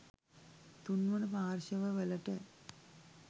තුන්වන පාර්ශ්ව වලට